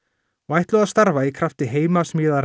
og ætluðu að starfa í krafti